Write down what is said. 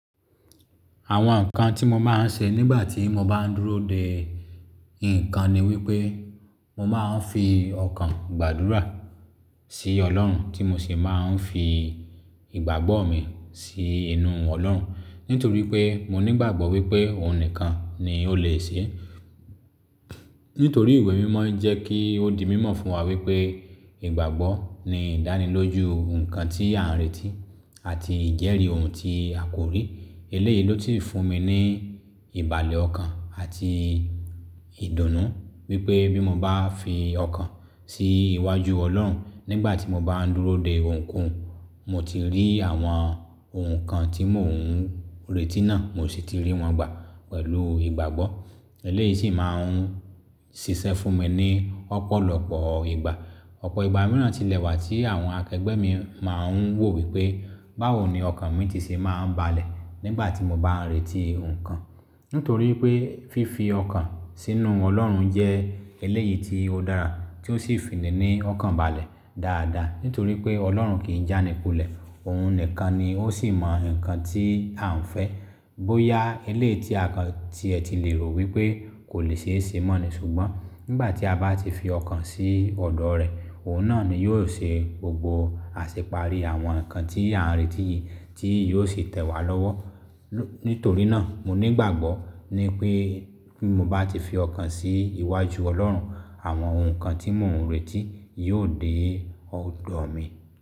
Àwọn nǹkan tí mo máa ń ṣe nígbà tí mo bá ń dúró de nǹkan ni wípé mo máa ń fi ọkàn gbàdúrà sí Ọlọ́run tí mo sì máa ń fi ìgbàgbọ́ mi sí inú Ọlọ́run. Nítorí pé mo nígbàgbọ́ wípé òun nìkan ni ó lè ṣe é. Nítorí ìwé mímọ jẹ́ kí ó di mímọ fún wa wípé ìgbàgbọ́ ni ìdánilójú nǹkan tí a ń retí àti ìjẹ́rìí ohun tí a kò rí. Eléyìí ló ti fún mi ní ìbàlẹ̀ ọkàn àti ìdùnnú wípé bí mo bá fi ọkàn sí iwájú Ọlọ́run nígbà tí mo bá ń dúró de ohunkóhun, mo ti rí àwọn ohun kan tí mò ń retí náà, mo sì ti rí wọn gbà pẹ̀lú ìgbàgbọ́. Eléyìí sì máa ń ṣiṣẹ́ fún mi ní ọ̀pọ̀lọpọ̀ ìgbà. Ọ̀pọ̀ ìgbà mìíràn ti lẹ̀ wà tí àwọn akẹgbẹ́ mi máa ń wò wípé báwo ni ọkàn mi ti ṣe máa ń balẹ̀ nígbà tí mo bá ń retí ohun kan. Nítorí pé fífi ọkàn sínú Ọlọ́run jẹ́ eléyìí tí ó dára tí ó sì fi ní ọkàn balẹ̀ dáadáa. Nítorí pé Ọlọ́run kì í jánipolẹ̀, òun nìkan ni ó sì mọ nǹkan tí à ń fẹ́. Bóyá eléyìí tí a kan tí ẹ ti lè rò wípé kò lè ṣe é ṣe mọ́ ni, ṣùgbọ́n nígbà tí a bá ti fi ọkàn sí ọ̀dọ̀ rẹ̀, òun náà ni yóò ṣe gbogbo àṣeparí àwọn nǹkan tí a ń retí yìí tí yóò sì tẹ̀ wá lọ́wọ́. Nítorí náà mo nígbàgbọ́ ni pé bí mo bá ti fi ọkàn sí iwájú Ọlọ́run, àwọn ohun kan tí mò ń retí yóò dé ọ̀dọ̀ mi.